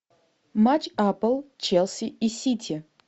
матч апл челси и сити